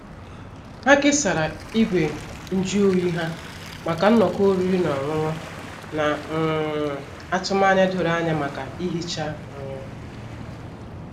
Ha kesara igwe nju oyi ha maka nnọkọ oriri na ọṅụṅụ, na um atụmanya doro anya maka ihicha. um